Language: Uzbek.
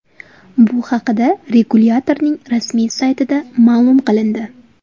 Bu haqda regulyatorning rasmiy saytida ma’lum qilindi .